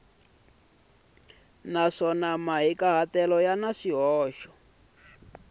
naswona mahikahatelo ya na swihoxo